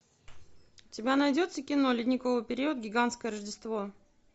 у тебя найдется кино ледниковый период гигантское рождество